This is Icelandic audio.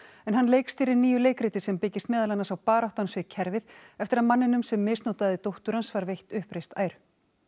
en hann leikstýrir nýju leikriti sem byggist meðal annars á baráttu hans við kerfið eftir að manninum sem misnotaði dóttir hans var veitt uppreist æru